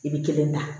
I bɛ kelen da